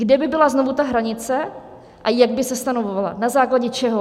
Kde by byla znovu ta hranice a jak by se stanovovala, na základě čeho?